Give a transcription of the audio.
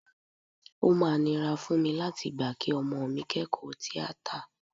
O máa nira fún mi láti gbà kí ọmọ mi kẹ́kọ̀ọ́ tíátà